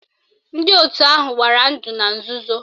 Ndị otu ahụ gbara ndụ na nzuzo